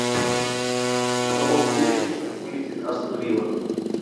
в каком туре вылетит астон вилла